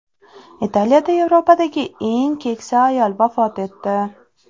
Italiyada Yevropadagi eng keksa ayol vafot etdi.